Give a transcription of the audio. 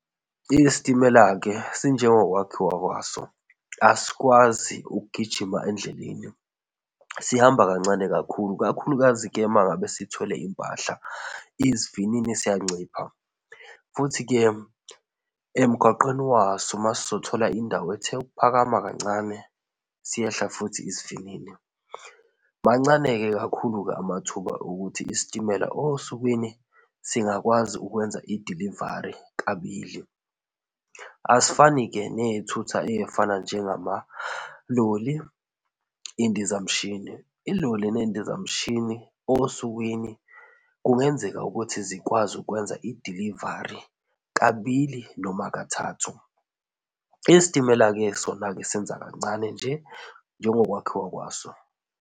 Isitimela-ke sinjengo kwakhiwa kwaso asikwazi ukugijima endleleni. Sihamba kancane kakhulu, kakhulukazi-ke uma ngabe sithwele impahla. Isivinini siyancipha futhi-ke emgwaqeni waso masizothola indawo ethe ukuphakama kancane, siyehla futhi isivinini. Mancane-ke kakhulu-ke amathuba okuthi isitimela osukwini singakwazi ukwenza i-delivery kabili. Asifani-ke nezithuthi ezifana njengama loli, izindizamshini. Iloli nendizamshini osukwini kungenzeka ukuthi zikwazi ukwenza i-delivery kabili noma kathathu. Isitimela-ke sona-ke senza kancane nje njengo kwakhiwa kwaso.